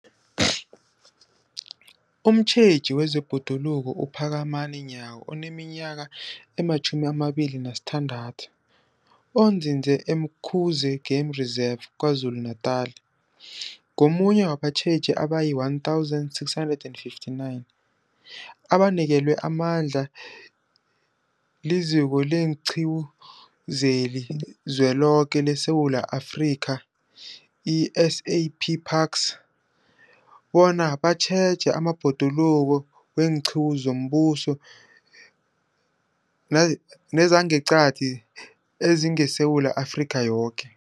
Umtjheji wezeBhoduluko uPhakamani Nyawo oneminyaka ema-26, onzinze e-Umkhuze Game Reserve KwaZulu-Natala, ungomunye wabatjheji abayi-1 659 abanikelwe amandla liZiko leenQiwu zeliZweloke leSewula Afrika, i-SA P Parks, bona batjheje amabhoduluko weenqiwu zombuso nezangeqadi ezingeSewula Afrika yoke.